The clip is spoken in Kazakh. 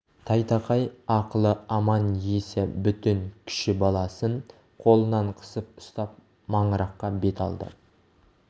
тайтақай ақылы аман есі бүтін кіші баласын қолынан қысып ұстап маңыраққа бет алды